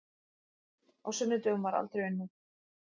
Á sunnudögum var aldrei unnið.